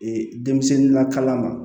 Ee denmisɛnnin lakalan ma